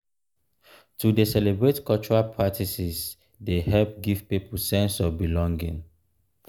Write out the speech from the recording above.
to dey celebrate cultural practices dey help give pipo sense of belonging.